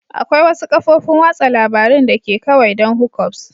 Akwai wasu kafofin watsa labarun da ke kawai don hookups